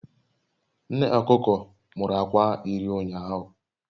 Nne okuko muru akwa iri ụnyahụ